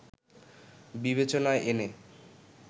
বিবেচনায় এনে